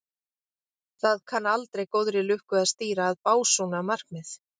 Það kann aldrei góðri lukku að stýra að básúna markmið.